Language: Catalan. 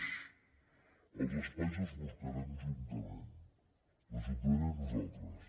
és els espais els buscarem juntament l’ajuntament i nosaltres